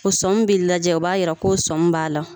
O sɔmi b'i lajɛ o b'a jira ko sɔmi b'a la